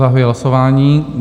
Zahajuji hlasování.